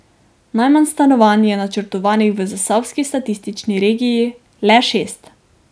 Najmanj stanovanj je načrtovanih v zasavski statistični regiji, le šest.